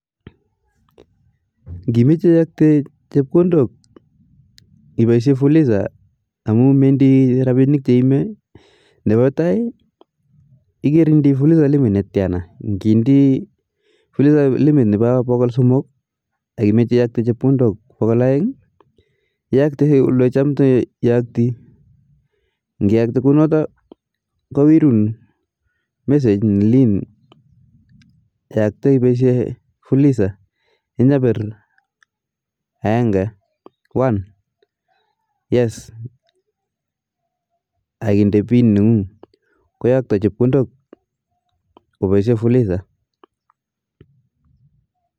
Ngimeche iyakte chepkondok ipaishe fulisa amuu mendii rabinik che imee, nepa tai ikere indii fulisa limit ne tiana ,ngindii fulisa nepa pokol somok ak imeche iyokte chepkondok pokol aeng iyaktii ole cham iyaktii ngiyakte kunoto kowerun message ne lin yakte ipaishe fulisa inyapir aenge koyan yes akinde pin nengung koyakto chepkondok kobaishe fulisa